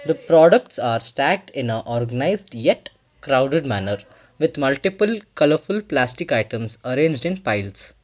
The products are stacked in a organised yet crowded manner with multiple colourful plastic items arranged in piles.